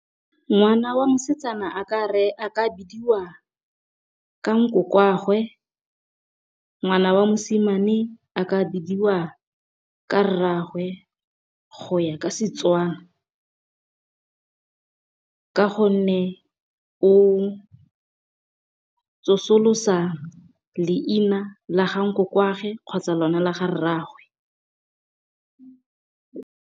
Ngwana wa mosetsana a ka ka bidiwa ka nkoko wa gagwe, ngwana wa mosimane a ka bidiwa ka rraagwe go ya ka Setswana. Ka gonne o tsosolosa leina la ga nkoko wa gagwe, kgotsa lone la ga rraagwe.